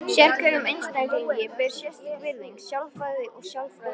Sérhverjum einstaklingi ber sérstök virðing, sjálfræði og sjálfsvirðing.